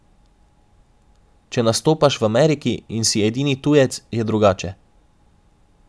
Če nastopaš v Ameriki in si edini tujec, je drugače.